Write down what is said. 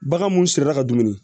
Bagan mun sirira ka dumuni